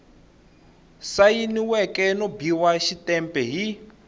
sayiniweke no biwa xitempe hi